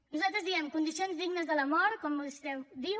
nosaltres diem condicions dignes de la mort com vostè diu